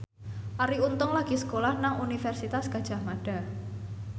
Arie Untung lagi sekolah nang Universitas Gadjah Mada